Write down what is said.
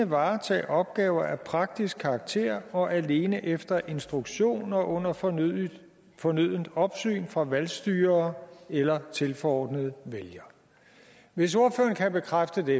varetage opgaver af praktisk karakter og alene efter instruktion og under fornødent fornødent opsyn fra valgstyrere eller tilforordnede vælgere hvis ordføreren kan bekræfte det